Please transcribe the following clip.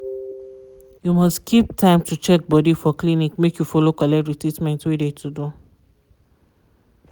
you must keep time to check body for clinic make you follow collect de treatment wey de to do.